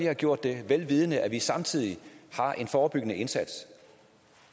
har gjort det vel vidende at vi samtidig har en forebyggende indsats